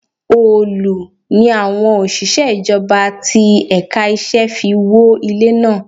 Òòlù ni àwọn òṣìṣẹ́ ìjọba ti ẹ̀ka iṣẹ́ fi wó ilé náà.